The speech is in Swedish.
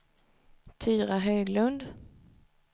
Tyra Höglund